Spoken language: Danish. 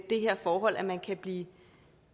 det her forhold at man kan blive